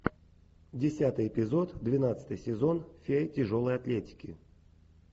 десятый эпизод двенадцатый сезон фея тяжелой атлетики